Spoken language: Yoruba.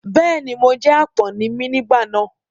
Bẹ́ẹ̀ ni, mo jẹ́ àpọ́n ni mí nígbà náà.